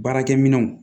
Baarakɛ minɛnw